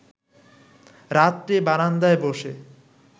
রাত্রে বারান্দায় ব’সে